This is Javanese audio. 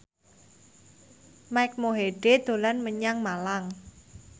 Mike Mohede dolan menyang Malang